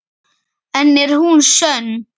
En er hún sönn?